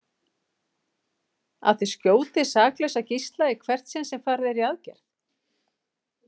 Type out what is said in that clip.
Að þeir skjóti saklausa gísla í hvert sinn sem farið er í aðgerð?